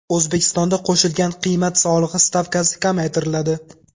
O‘zbekistonda qo‘shilgan qiymat solig‘i stavkasi kamaytiriladi.